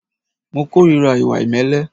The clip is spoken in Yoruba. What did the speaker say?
Mo ìkórìíra ìwà ìmẹ́lẹ́.